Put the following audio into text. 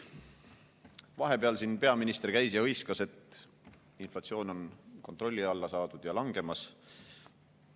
Vahepeal siin peaminister käis ja hõiskas, et inflatsioon on kontrolli alla saadud ja langemas.